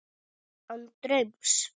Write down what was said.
Án draums.